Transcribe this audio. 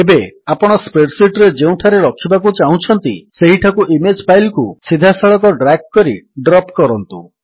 ଏବେ ଆପଣ spreadsheet ରେ ଯେଉଁଠାରେ ରଖିବାକୁ ଚାହୁଁଛନ୍ତି ସେହିଠାକୁ ଇମେଜ୍ ଫାଇଲ୍ କୁ ସିଧାସଳଖ ଡ୍ରାଗ୍ କରି ଡ୍ରପ୍ କରନ୍ତୁ